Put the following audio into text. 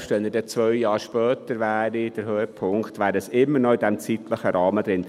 Selbst wenn der Höhepunkt zwei Jahre später wäre, wäre es immer noch innerhalb dieses zeitlichen Rahmens.